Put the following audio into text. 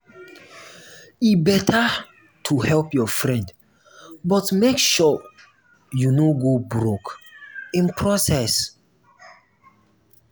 e better to help your friend but make sure you no go broke in process.